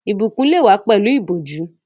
Ìbùkún lè wá pẹ̀lú ìbòjú